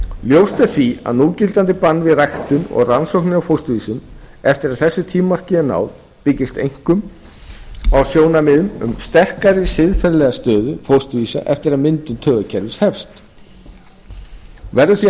ljóst er því að núgildandi bann við ræktun og rannsóknum á fósturvísum eftir að þessu tímamarki er náð byggist einkum á sjónarmiðum um sterkari siðferðilega stöðu fósturvísa eftir að myndun taugakerfis hefst verður því að